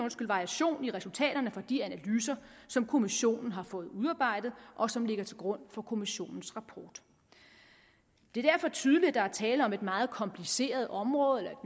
variation i resultaterne fra de analyser som kommissionen har fået udarbejdet og som ligger til grund for kommissionens rapport det er derfor tydeligt at der er tale om et meget kompliceret område eller